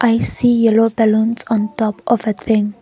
i see yellow balloons on top of a thing.